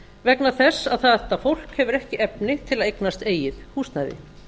vegna þess að þetta fólk hefur ekki efni til að eignast eigið húsnæði